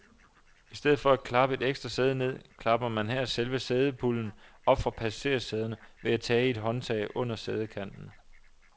I stedet for at klappe et ekstra sæde ned, klapper man her selve sædepulden op fra passagersæderne ved at tage i et håndtag under sædekanten.